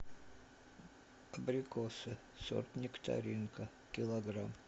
абрикосы сорт нектаринка килограмм